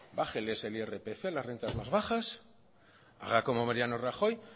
bájeles el irpf a las rentas más bajas haga como mariano rajoy